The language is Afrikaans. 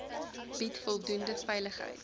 bied voldoende veiligheid